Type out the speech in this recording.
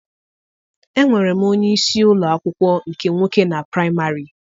Enwere m onyeisi ụlọ akwụkwọ nke nwoke na praịmarị.